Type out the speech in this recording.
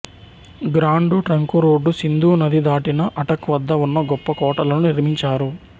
grand trunk road Sindhu నది దాటిన అటక్ వద్ద ఉన్న గొప్ప కోటలను నిర్మించారు